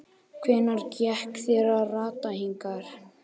Hvernig gekk þér að rata hingað?